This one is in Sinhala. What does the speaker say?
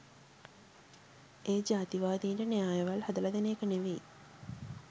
ඒ ජාතිවාදීන්ට න්‍යායවල් හදලා දෙන එක නෙමේ